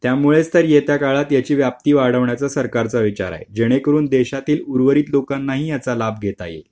त्यामुळेच तर येत्या काळात याची व्याप्ती वाढवण्याचा सरकारचा विचार आहे जेणेकरून देशातील उर्वरित लोकांनाही याचा लाभ घेता येईल